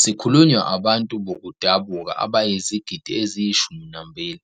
Sikhulunywa abantu bokudabuka abayizigidi eziyishumi nambili,